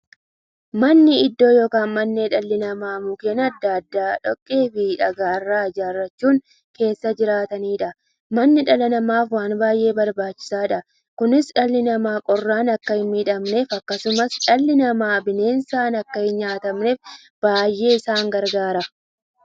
Manni iddoo yookiin mandhee dhalli namaa Mukkeen adda addaa, dhoqqeefi dhagaa irraa ijaarachuun keessa jiraataniidha. Manni dhala namaaf waan baay'ee barbaachisaadha. Kunis, dhalli namaa qorraan akka hinmiidhamneefi akkasumas dhalli namaa bineensaan akka hinnyaatamneef baay'ee isaan gargaara.